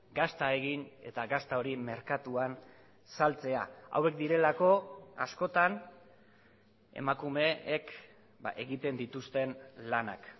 gazta egin eta gazta hori merkatuan saltzea hauek direlako askotan emakumeek egiten dituzten lanak